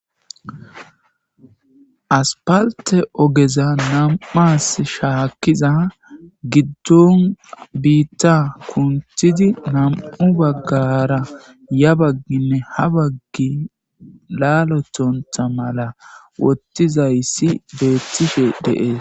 aspalte ogeza nam'as shaakkiza giddon biitta kuntidi nam'u baggara ya bagginne ha baggi laalothontha mala wottizayssi beettishe de'ees